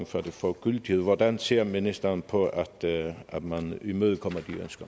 før det får gyldighed hvordan ser ministeren på at man imødekommer